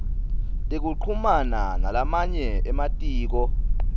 nekuchumana nalamanye ematiko